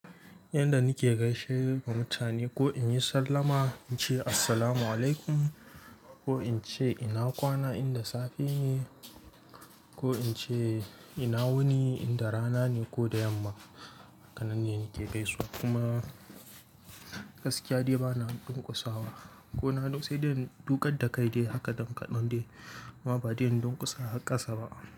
Inda nike gaishe da mutane ko in yi sallama in ce assalamu alaikum ko in ce ina kwana inda safe ne ko in ce ina wuni inda rana ne ko da yamma. Hakanan ne nike gaisuwa kuma gaskiya dai bana durkusa wa ko na duk sai dai dukar da kai dai haka dan kaɗan dai kuma ba dai don kusa a ƙasa ba.